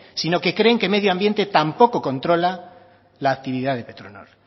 sino que creen que medio ambiente tampoco controla la actividad de petronor